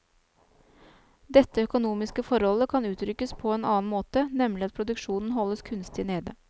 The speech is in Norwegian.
Dette økonomiske forholdet kan uttrykkes på en annen måte, nemlig at produksjonen holdes kunstig nede.